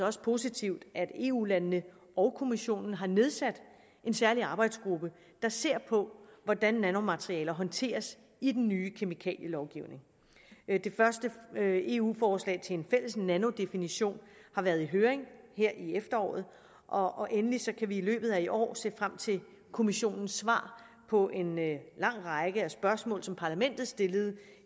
også positivt at eu landene og kommissionen har nedsat en særlig arbejdsgruppe der ser på hvordan nanomaterialer håndteres i den nye kemikalielovgivning det første eu forslag til en fælles nanodefinition har været i høring her i efteråret og endelig kan vi i løbet af i år se frem til kommissionens svar på en lang række spørgsmål som parlamentet stillede